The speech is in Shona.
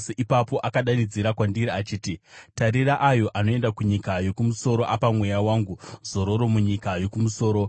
Ipapo akadanidzira kwandiri achiti, “Tarira, ayo anoenda kunyika yokumusoro, apa Mweya wangu zororo munyika yokumusoro.”